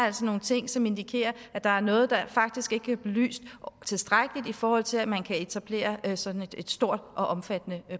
altså nogle ting som indikerer at der er noget der faktisk ikke er belyst tilstrækkeligt i forhold til at man kan etablere sådan et stort og omfattende